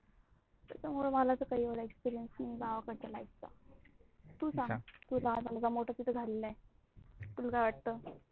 त्याच्या मुळ मला काही experience नाही गावाकडच्या life चा. तू सांग, तू लहान्याचा मोठा तिथे झालेला आहे. तुला काय वाटत?